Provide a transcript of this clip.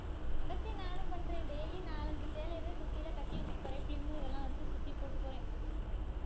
அதுதான் நானும் பண்றேன் daily நாலு அஞ்சு சேலையவே சுத்தியலை கட்டி வச்சிட்டு போறேன் இதெல்லாம் வச்சு சுத்தி போட்டுட்டு போறேன்